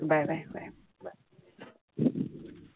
Bye bye bye.